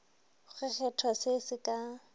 go kgethwa se se ka